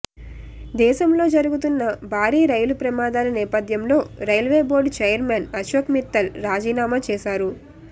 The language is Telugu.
దేశంలో జరుగుతున్న భారీ రైలు ప్రమాదాల నేపథ్యంలో railway board chairman Ashok Mittal రాజీనామా చేశారు